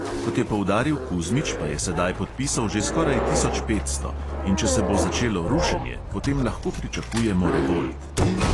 Kot je poudaril kuzmič, pa je sedaj podpisov že skoraj tisoč petsto, in če se bo začelo rušenje, potem lahko pričakujemo revolt.